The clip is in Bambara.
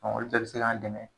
olu dɔ bi se k'an dɛmɛ